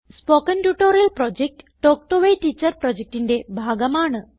spoken tutorial project talk to a teacher പ്രൊജക്റ്റിന്റെ ഭാഗമാണ്